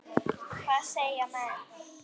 Hvað segja menn?